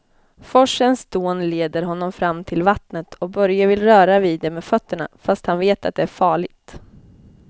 Forsens dån leder honom fram till vattnet och Börje vill röra vid det med fötterna, fast han vet att det är farligt.